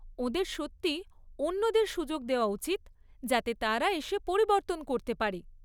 ওঁদের সত্যিই অন্যদের সুযোগ দেওয়া উচিত যাতে তারা এসে পরিবর্তন করতে পারে।